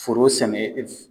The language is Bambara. Foro sɛnɛ